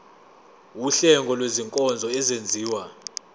wuhlengo lwezinkonzo ezenziwa